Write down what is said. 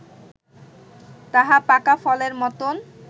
তাহা পাকা ফলের মতন